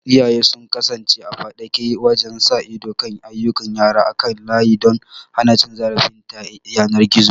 Iyaye su kasance a faɗake wajen sa ido kan ayyukan yara kan layi don hana cin zarafi ta yanar gizo.